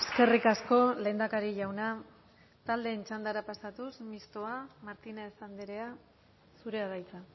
eskerrik asko lehendakari jauna taldeen txandara pasatuz mistoa martínez andrea zurea da hitza